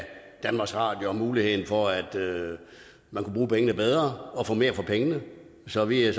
danmarks radio og muligheden for at man kunne bruge pengene bedre og få mere for pengene så vi er